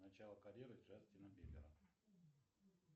начало карьеры джастина бибера